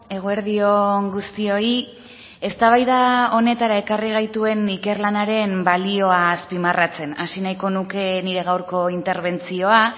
eguerdi on guztioi eztabaida honetara ekarri gaituen ikerlanaren balioa azpimarratzen hasi nahiko nuke nire gaurko interbentzioa